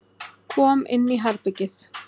Kom inn í herbergið.